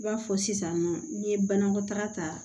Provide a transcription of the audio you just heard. I b'a fɔ sisannɔ n'i ye banakɔtaga ta